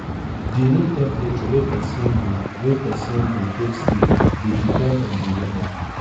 di room temperature wey person go wey person go take sleep dey depend on di weather